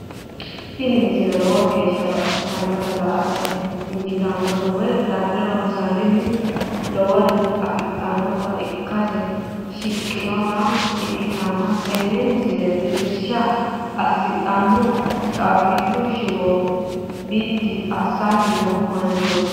tini misile lowo geeshsha baxissannote la"ate injiitanno woy la'ne ronsannire lowore afidhinota ikkite shiqqinota ikkitanna tini misilera tittirsha hasidhanno caabbichu shiwo biddi assanni noo manchooti.